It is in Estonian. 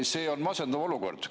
See on masendav olukord.